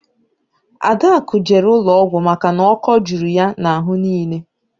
Adakụ jere ụlọọgwụ maka na ọ́kọ́ juru ya n'ahụ niile